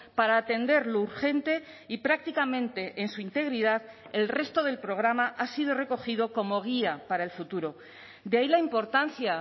para atender lo urgente y prácticamente en su integridad el resto del programa ha sido recogido como guía para el futuro de ahí la importancia